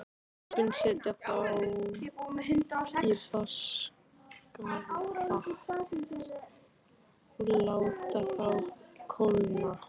Við skulum setja þá í vaskafat og láta þá kólna.